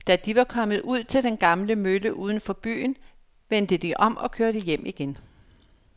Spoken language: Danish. Da de var kommet ud til den gamle mølle uden for byen, vendte de om og kørte hjem igen.